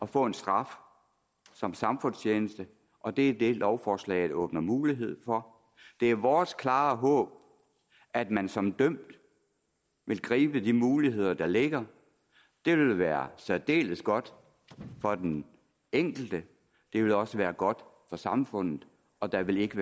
få en straf som samfundstjeneste og det er det lovforslaget åbner mulighed for det er vores klare håb at man som dømt vil gribe de muligheder der ligger det vil være særdeles godt for den enkelte det vil også være godt for samfundet og der vil ikke